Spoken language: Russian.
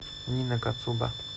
нина кацуба